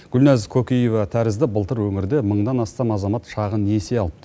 гүлназ кокиева тәрізді былтыр өңірде мыңнан астам азамат шағын несие алыпты